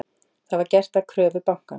Það var gert að kröfu bankans